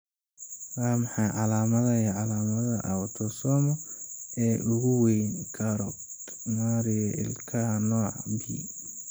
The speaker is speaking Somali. Waa maxay calamadaha iyo calaamadaha Autosomal ee ugu weyn Charcot Marie Ilkaha nooca B?